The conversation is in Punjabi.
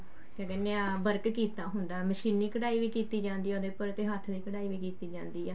ਕਿਆ ਕਹਿਨੇ ਹਾਂ work ਕਰਿਆ ਹੁੰਦਾ ਮਸ਼ੀਨੀ ਕਢਾਈ ਵੀ ਕੀਤੀ ਜਾਂਦੀ ਆ ਉਹਦੇ ਪਰ ਤੇ ਹੱਥ ਦੀ ਕਢਾਈ ਵੀ ਕੀਤੀ ਜਾਂਦੀ ਆ